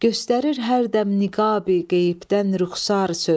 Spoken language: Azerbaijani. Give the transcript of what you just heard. Göstərir hər dəm niqabi qeybdən rüxsar söz.